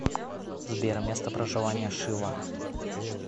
сбер место проживания шива